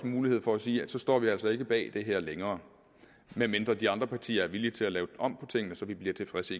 mulighed for at sige at så står vi altså ikke bag det her længere medmindre de andre partier er villige til at lave om på tingene så vi bliver tilfredse